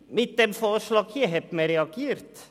Mit dem vorliegenden Vorschlag hat man nun reagiert.